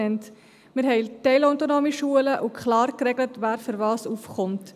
Wir haben teilautonome Schulen und klar geregelt, wer wofür aufkommt.